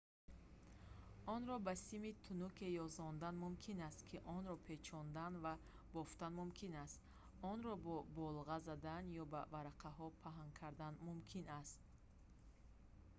онро ба сими тунуке ёзондан мумкин аст ки онро печондан ва бофтан мумкин аст онро бо болға задан ё ба варақаҳо паҳн кардан мумкин аст